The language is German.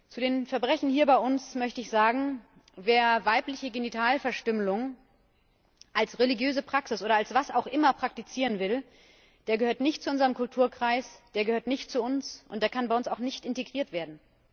Zu den Verbrechen hier bei uns möchte ich sagen Wer weibliche Genitalverstümmelung als religiöse Praxis oder als was auch immer praktizieren will, der gehört nicht zu unserem Kulturkreis, der gehört nicht zu uns, und der kann bei uns auch nicht integriert werden.